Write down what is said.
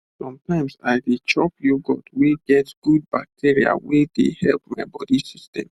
sometimes i dey chop yoghurt wey get good bacteria wey dey help my body system